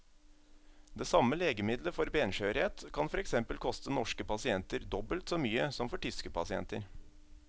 Det samme legemiddelet for benskjørhet kan for eksempel koste norske pasienter dobbelt så mye som for tyske pasienter.